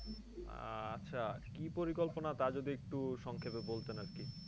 আহ আচ্ছা। কি পরিকল্পনা তা যদি একটু সংক্ষেপে বলতে আরকি?